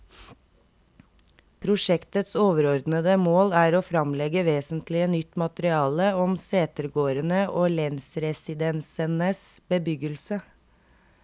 Prosjektets overordede mål er å fremlegge vesentlig nytt materiale om setegårdene og lensresidensenes bebyggelse.